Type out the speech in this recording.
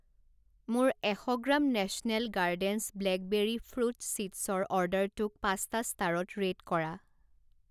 মোৰ এশ গ্ৰাম নেশ্যনেল গাৰ্ডেনছ ব্লেকবেৰী ফ্ৰুট ছীডছৰ অৰ্ডাৰটোক পাঁচটা ষ্টাৰত ৰে'ট কৰা।